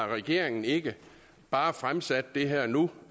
regeringen ikke bare har fremsat det her nu